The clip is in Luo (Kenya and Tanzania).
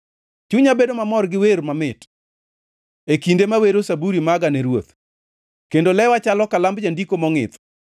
Chunya bedo mamor gi wer mamit e kinde mawero Zaburi maga ne Ruoth; kendo lewa chalo kalamb jandiko mongʼith.